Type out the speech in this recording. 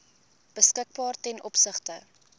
beskikbaar ten opsigte